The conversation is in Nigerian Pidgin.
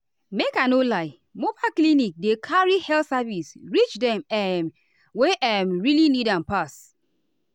make i no lie mobile clinics dey carry health services reach dem um wey um really need am pass.